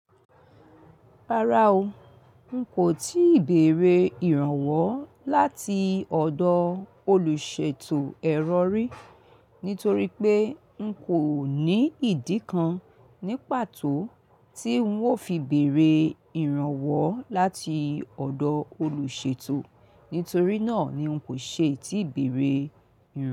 Rárá o, n kò tíì bèerè ìrànwọ́ láti ọ̀dọ̀ olùṣètò ẹ̀rọ rí, nítorí pé n kò ní ìdí kan ní pàtó tí ń ò fi bèrè ìrànwọ́ láti ọ̀dọ̀ olùṣètò, nítorí náà ni n kò ṣe tíì bèerè rí.